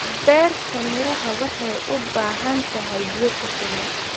Beerta miraha waxay u baahan tahay biyo ku filan.